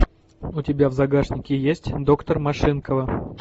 у тебя в загашнике есть доктор машинкова